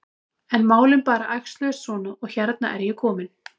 En málin bara æxluðust svona og hérna er ég komin.